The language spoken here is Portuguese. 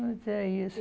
Mas é isso